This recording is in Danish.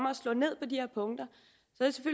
at slå ned på de her punkter